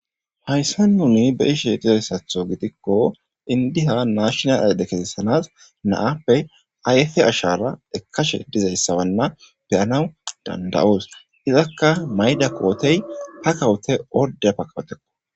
"Hayssan nuni be'ishe dizaysatho giddiko inddiya nashinal ayide na'appe ayife ashara ekkashe dizaysawana be'anaw danda'os izakka mayida kootey pakawute ordde pakawutekko."